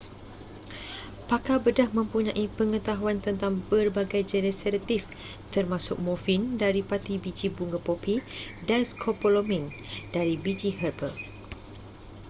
pakar bedah mempunyai pengetahuan tentang berbagai jenis sedatif termasuk morfin dari pati biji bunga popi dan scopolamine dari biji herba